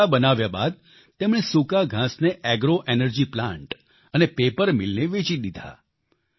ગઠ્ઠા બનાવ્યા બાદ તેમણે સૂકા ઘાંસને એગ્રો એનર્જી પ્લાન્ટ અને પેપર મીલને વેચી દીધા